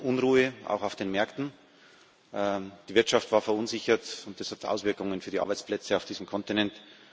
Wir hatten Unruhe auch auf den Märkten die Wirtschaft war verunsichert, und das hat Auswirkungen auf die Arbeitsplätze auf diesem Kontinent.